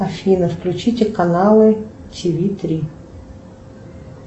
афина включите канала тиви три